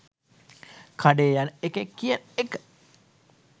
කඩේ යන එකෙක් කියන එක